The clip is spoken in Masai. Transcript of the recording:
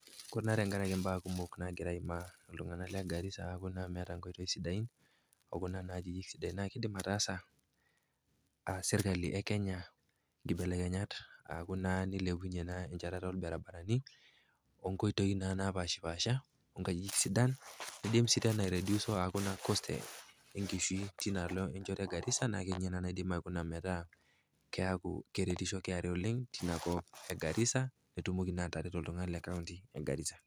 Ore naa tenkarake imbaa kumok nagira aimaa iltung'ana le Garisa, aau meata inkoitoi sidain, o kuna akeyie sidai naa idim ataasa serkali e Kenya inkibelekenya aaku naa neilepunye enchetata olbarabarani, o nkoitoi naa naapaashipaasha, o nkajijik sidan, neidim sii tena airediuso aaku naa cost e nkishui teinaalo enchoto e Garisa naa ninye naa naidim aikuna metaa keaku keretisho KRA oleng tinakop e Garisa petumoki naa atareto iltung'ana lina kaunti e Garisa.